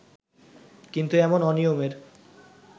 কিন্তু এমন অনিয়মের